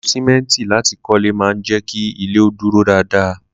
Lílo sìmẹ́ǹtì láti kọ́lé máa ń jẹ́ kí ilé ó dúró dáadáa